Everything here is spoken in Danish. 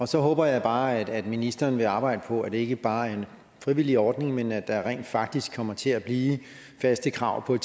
så håber jeg bare at ministeren vil arbejde på at det ikke bare er en frivillig ordning men at der rent faktisk kommer til at blive faste krav om